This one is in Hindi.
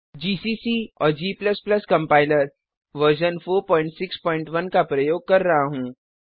जीसीसी और g कम्पाइलर वर्जन 461 का प्रयोग कर रहा हूँ